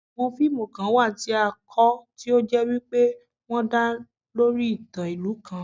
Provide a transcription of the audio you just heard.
Àwon fíìmù kan wà tí a kọ, tí ó jẹ́ wípé wọ́n dá lé lórí ìtàn ìlú kan